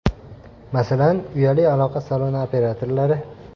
Masalan, uyali aloqa saloni operatorlari.